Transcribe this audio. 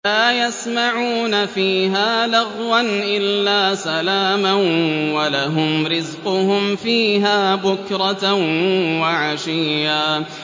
لَّا يَسْمَعُونَ فِيهَا لَغْوًا إِلَّا سَلَامًا ۖ وَلَهُمْ رِزْقُهُمْ فِيهَا بُكْرَةً وَعَشِيًّا